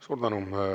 Suur tänu!